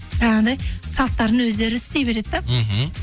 жаңағындай салттарын өздері істей береді да мхм